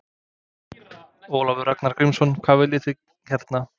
Ólafur Ragnar Grímsson: Hvað viljið þið hérna?